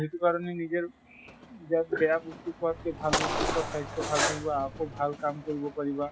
সেইটো কাৰণে নেজেৰ বেয়া বেয়া বস্তু খোৱাত্কে ভাল বস্তু খোৱা। স্বাস্থ্য় ভালে থাকিব। আকৌ ভাল কাম কৰিব পাৰিবা।